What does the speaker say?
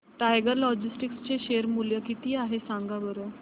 tiger Logistics चे share मूल्य किती आहे सांगा बरं